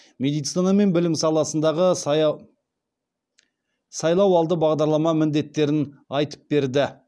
медицина мен білім саласындағы сайлауалды бағдарлама міндеттерін айтып берді